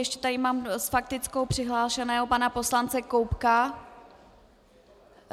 Ještě tady mám s faktickou přihlášeného pana poslance Koubka.